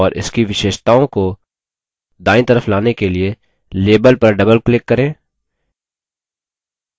और इसकी विशेषताओं को दायीं तरफ लाने के लिए label पर double click करें